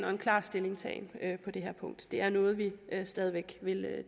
og klar stillingtagen på det her punkt det er noget vi stadig væk vil